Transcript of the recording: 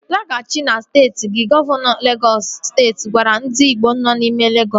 Laghachi azụ na steeti gi! Gọvanọ Legọs steeti gwara ndị igbo nọ n'ime Legọs